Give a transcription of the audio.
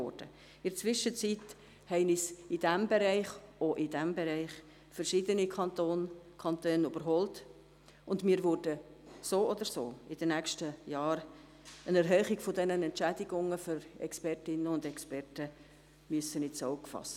In der Zwischenzeit haben uns in diesem Bereich, auch in diesem Bereich, verschiedene Kantone überholt, und wir werden so oder so in den nächsten Jahren eine Erhöhung der Entschädigungen für Expertinnen und Experten ins Auge fassen müssen.